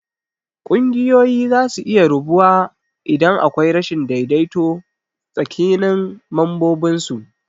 Kunguyoyi zasu iya rabuwa idan akwai rashin daidaito tsakinin mambobinsu.